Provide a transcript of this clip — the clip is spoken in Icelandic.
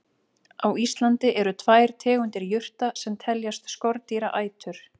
Á Íslandi eru tvær tegundir jurta sem teljast skordýraætur.